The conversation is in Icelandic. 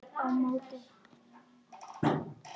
á móti.